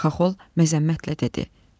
Xaxol məzəmmətlə dedi.